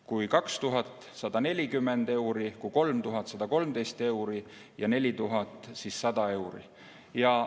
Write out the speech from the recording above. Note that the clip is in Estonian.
Kui see töötaks 2000 tundi, siis oleks hind 140 eurot, kui 3000 tundi, siis 113 eurot ja kui 4000 tundi, siis 100 eurot.